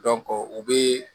u bɛ